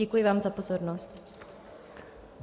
Děkuji vám za pozornost.